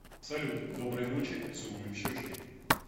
салют доброй ночи целую в щечки